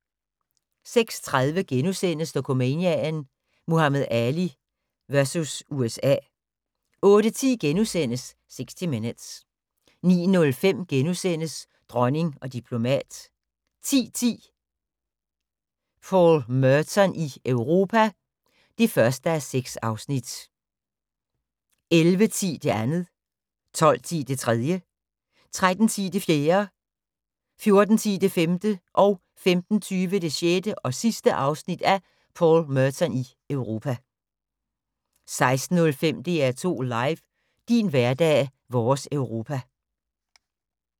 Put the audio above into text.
06:30: Dokumania: Muhammad Ali vs. USA * 08:10: 60 Minutes * 09:05: Dronning og diplomat * 10:10: Paul Merton i Europa (1:6) 11:10: Paul Merton i Europa (2:6) 12:10: Paul Merton i Europa (3:6) 13:10: Paul Merton i Europa (4:6) 14:10: Paul Merton i Europa (5:6) 15:20: Paul Merton i Europa (6:6) 16:05: DR2 LIVE: Din hverdag - vores Europa